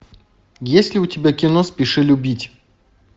есть ли у тебя кино спеши любить